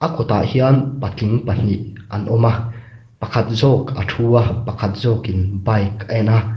a kawtah hian patling pahnih an awm a pakhat zawk a thu a pakhat zawkin bike a en a.